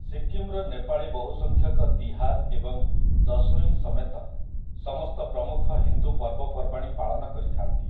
ସିକିମ୍‌ର ନେପାଳୀ ବହୁସଂଖ୍ୟକ ତିହାର ଏବଂ ଦଶଇଁ ସମେତ ସମସ୍ତ ପ୍ରମୁଖ ହିନ୍ଦୁ ପର୍ବପର୍ବାଣୀ ପାଳନ କରିଥାନ୍ତି ।